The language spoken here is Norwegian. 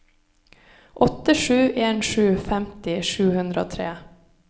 åtte sju en sju femti sju hundre og tre